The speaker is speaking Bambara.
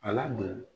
Ala don